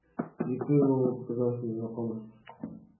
лицо его показалось мне знакомо